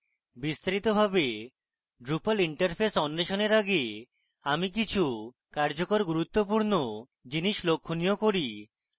বিস্তারিতভাবে drupal interface অন্বেষণের আগে আমি কিছু কার্যকর গুরুত্বপূর্ণ জিনিস লক্ষণীয় করি